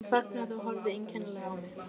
Hún þagnaði og horfði einkennilega á mig.